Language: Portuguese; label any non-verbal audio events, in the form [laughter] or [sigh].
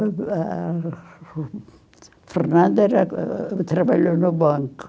A Fernanda [unintelligible] trabalhou no banco.